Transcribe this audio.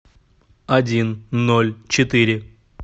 один ноль четыре